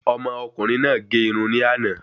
Ọmọ ọkùnrin náà gé irun ni ana